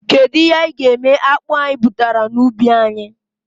Kedụ ihe anyị ga-eme akpụ anyị butara na ubi anyị?